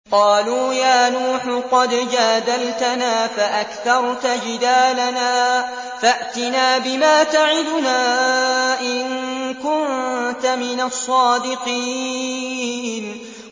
قَالُوا يَا نُوحُ قَدْ جَادَلْتَنَا فَأَكْثَرْتَ جِدَالَنَا فَأْتِنَا بِمَا تَعِدُنَا إِن كُنتَ مِنَ الصَّادِقِينَ